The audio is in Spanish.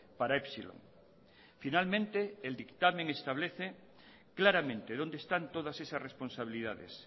para epsilon finalmente el dictamen establece claramente dónde están todas esas responsabilidades